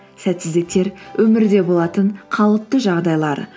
сәтсіздіктер өмірде болатын қалыпты жағдайлар